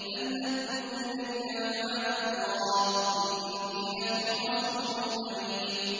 أَنْ أَدُّوا إِلَيَّ عِبَادَ اللَّهِ ۖ إِنِّي لَكُمْ رَسُولٌ أَمِينٌ